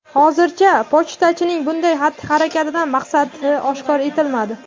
Hozircha pochtachining bunday xatti-harakatdan maqsadi oshkor etilmadi.